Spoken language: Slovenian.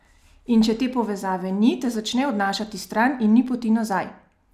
In če te povezave ni, te začne odnašati stran in ni poti nazaj!